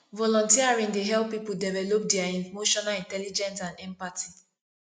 volunteering dey help people develop dia emotional intelligence and empathy